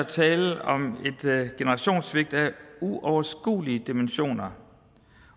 tale om et generationssvigt af uoverskuelige dimensioner